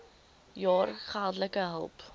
jaar geldelike hulp